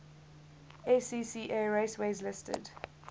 scca raceways listed